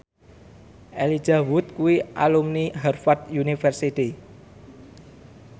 Elijah Wood kuwi alumni Harvard university